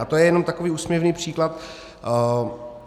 A to je jenom takový úsměvný příklad.